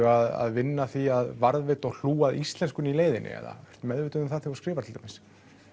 að vinna að því að varðveita og hlúa að íslenskunni í leiðinni eða meðvituð um það þegar þú skrifar til dæmis